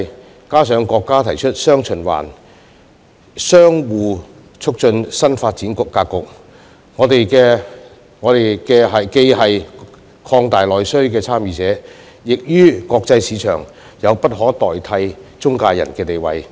再加上國家提出"雙循環"相互促進新發展格局，我們既是擴大內需的參與者，於國際市場亦有着不可替代的"中介人"地位。